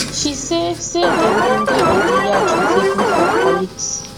she say say dem bin dey on di yacht wit a group of colleagues